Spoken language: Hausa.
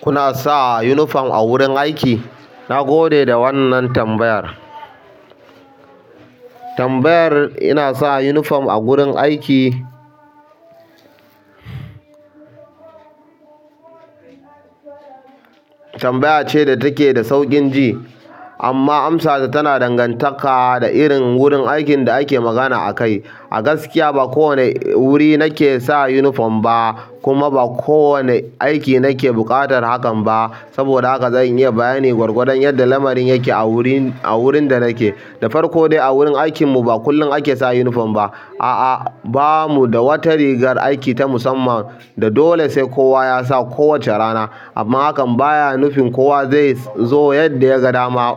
Kuna sa unifom a wurin aiki? Na gode da wannan tambayar. Tambayar "ina sa yunifom a wurin aiki" tambaya ce da take da sauƙin ji amma amsata tana dangantaka da irin gurin aikn da ake magana akai. A gaskiya, ba kowane wuri nake sa unifom ba, kuma ba kowane aiki nake buƙatar hakan ba. Saboda haka zan iya bayani gwargwadon yadda lamarin yake a wurin, a wurin da nake. Da farko dai, a wurin aikinmu ba kullum ake sa unifom ba. A'a, ba mu da wata rigar aiki ta musamman da dole sai kowa ya sa kowace rana. Amma hakan baya nufin kowa zai zo yadda yaga dama